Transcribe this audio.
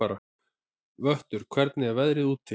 Vöttur, hvernig er veðrið úti?